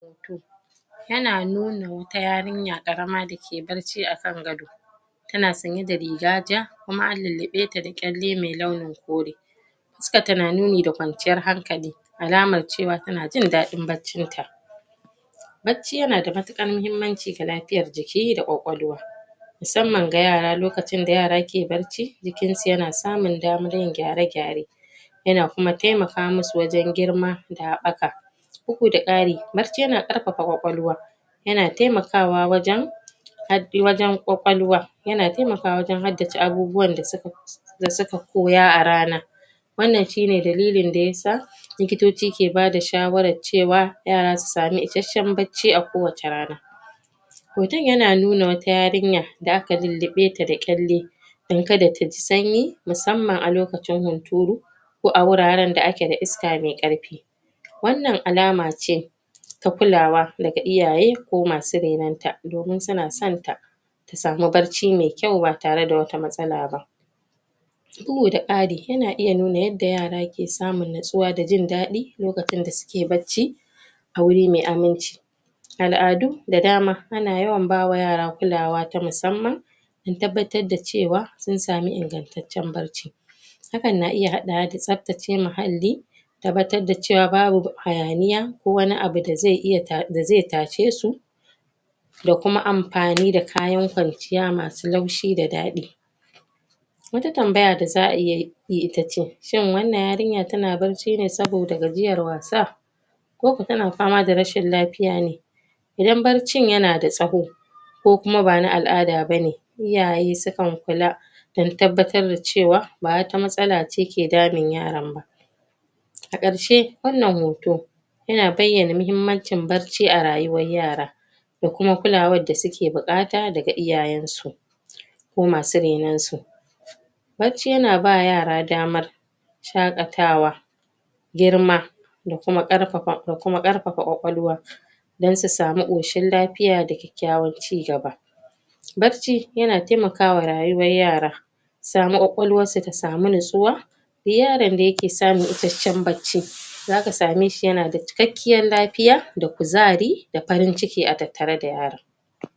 Ya na nuna wata yarinya karama da ke barci akan gado ta na tsanye da riga ja kuma an lallabe ta da kyale mai lauyan kore su ka tunanin mai da kwanciyar hankali alamar cewa ta na jin dadin baccin ta bacci ya na da matukar mahimmanci da lafiyar jiki da kwakwalwa musamman ga yara lokacin da yara ke barci jikin su ya na samun damar yin gyare-gyare ya na kuma taimaka masu wajen girma daɓaka uku da ƙari, barci ya na karfafa kwakwalwa ya na taimakawa wajen habbi wajen kwakwalwa, ya na taimaka wajen haddace abubuwan da su ka da su ka koya a rana wannan shi ne dalilin da ya sa likitocci ke ba da shawarar cewa, yara su samu isheshan barci a kowace rana mutum ya na nuna wata yarinya da aka lullube ta da kyale dan ka da ta ji sanyi, musamman a lokacin hunturu ko a wuraren da a ke da iska mai karfi wannan alama ce ta kulawa da ga iyaye ko masu renun ta, domin su na san ta samu barci mai kyau ba tare da wata matsala ba da kari, ya na iya nuna yadda yara ke samun natsuwa da jindadi, lokacin da su ke barci a wuri mai aminci. Aladu da dama a na yawa ba ma yara kulawa da musamman un tabbatar da cewa, sun sami ingantaccen barci. Hakan na iya haddawa da sabtacce ma hali tabbatar da cewa babu hayaniya, ko wani abu da zai iya ta da zai tashe su da kuma amfani da kayan kwanciya masu laushi da dadi. Wata tambaya da zaa yi, ita ce shin wannan yarinyar ta na barci ne saboda gajiyar wasa? ko ko ta na fama da rashin lafiya ne idan barcin ya na da tsaho ko kuma ba na alada ba ne, iyaye su kan kulla dan tabbatar ta cewa, ba wa ta matsalla ce ke damin yaran ba. A karshe, wannan hoto ya na bayana mahimmancin barci a rayuwa yara. da kuma kullawar da su ke bukata da iyayen su ko masu renun su Barci ya na ba yara damar shakatawa girma da kuma karfafa, da kuma karfafa kwakwalwa dan su samu koshin lafiya da kyakyawar cigaba. Barci, ya na taimakawa rayuwar yara samu kwakwalwar su ta samu natsuwa, yaron da ya ke samun isheshen barci za ka same shi ya na da cikkakiyar lafiya da kuzari, da farinciki a tattare da yaran.